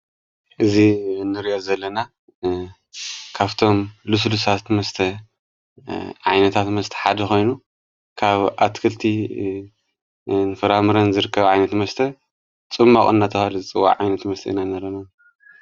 እዙ ንርያት ዘለና ካብቶም ልሱልሳት መስተ ዓይነታት መስተ ሓዲ ኾይኑ ካብ ኣትክልቲ ንፍራምረን ዘርከብ ዓይነት መስተ ጽምመቖ ናተብሃለ ዝፅዋዕ ዓይነት መስተ ኢና ንርኢ ዘለና።